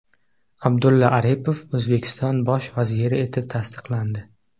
Abdulla Aripov O‘zbekiston bosh vaziri etib tasdiqlandi .